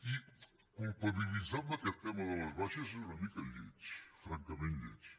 i culpabilitzar en aquest tema de les baixes és una mica lleig francament lleig